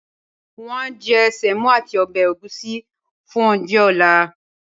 won a je semo ati obe egusi fun ounje ale